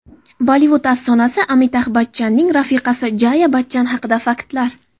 Bollivud afsonasi Amitabh Bachchanning rafiqasi Jaya Bachchan haqida faktlar.